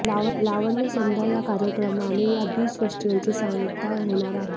लावण्यसंध्या या कार्यक्रमाने या बीच फेस्टिव्हलची सांगता होणार आहे